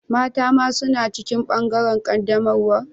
Mata ma suna cikin bangaren qaddamarwan?